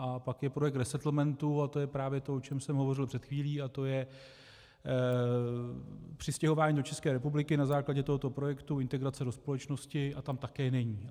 A pak je projekt resettlementu a to je právě to, o čem jsem hovořil před chvílí, a to je přistěhování do České republiky na základě tohoto projektu, integrace do společnosti, a tam také není.